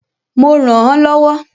Mo rànán lọ́wọ́.